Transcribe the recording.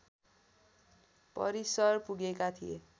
परिसर पुगेका थिए